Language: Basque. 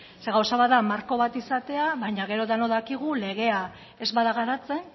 zeren gauza bat da marko bat izatea baina gero denok dakigu legea ez bada garatzen